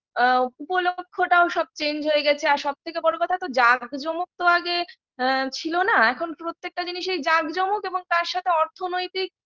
আ উপলক্ষটাও সব change হয়ে গেছে আর সব থেকে বড় কথা তো যাক জমক তো আগে আ ছিল না এখন প্রত্যেকটা জিনিসেই যাক চমক তার সাথে অর্থনৈতিক